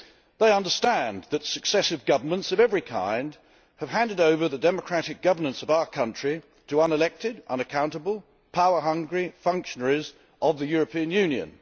They understand that successive governments of every kind have handed over the democratic governance of our country to unelected, unaccountable, power hungry functionaries of the European Union.